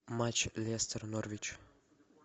матч лестер норвич